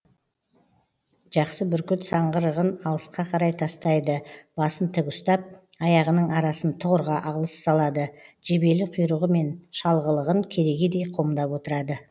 жақсы бүркіт саңғырығын алысқа қарай тастайды басын тік ұстап аяғының арасын тұғырға алыс салады жебелі құйрығы мен шалғылығын керегедей қомдап отырады